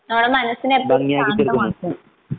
നമ്മടെ മനസ്സിനെ അത് ശാന്തമാക്കും